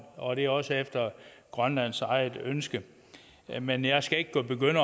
og det er også efter grønlands eget ønske men jeg skal ikke begynde